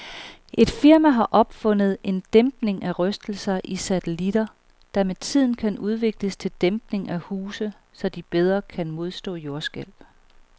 Et firma har opfundet en dæmpning af rystelser i satellitter, der med tiden kan udvikles til dæmpning af huse, så de bedre kan modstå jordskælv.